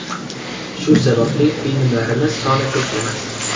Shu sababli filmlarimiz soni ko‘p emas.